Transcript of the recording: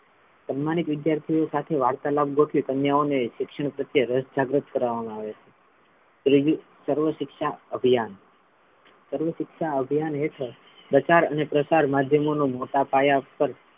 સન્માનિત વિદ્યાર્થીઓ સાથે વાર્તાલાભ ગોઠવી કન્યાઓ ને શિક્ષણ પ્રત્યે રસ જાગૃત કરાવામાં આવે છે ત્રીજું સર્વ શિક્ષા અભિયાન સર્વ શિક્ષા અભ્યાન હેઠળ પ્રચાર અને પ્રસાર માધ્યમોનો મોટા પાયા પર,